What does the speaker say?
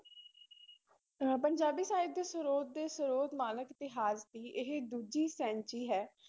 ਅਹ ਪੰਜਾਬੀ ਸਾਹਿਤ ਦੇ ਸਰੋਤ ਦੇ ਸਰੋਤ ਨਾਨਕ ਇਤਿਹਾਸ ਦੀ ਇਹ ਦੂਜੀ ਸੈਂਚੀ ਹੈ।